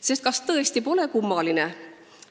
Sest kas tõesti pole kummaline?